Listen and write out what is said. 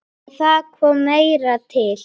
En það kom meira til.